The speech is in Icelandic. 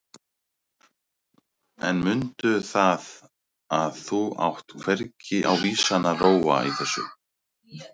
En mundu það að þú átt hvergi á vísan að róa í þessu.